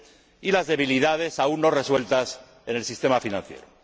y las debilidades aún no resueltas en el sistema financiero.